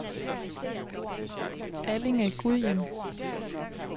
Allinge-Gudhjem